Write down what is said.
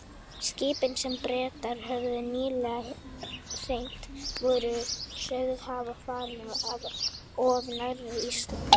Skipin, sem Bretar höfðu nýlega hremmt, voru sögð hafa farið of nærri Íslandi.